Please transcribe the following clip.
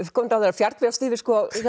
fjargviðrast yfir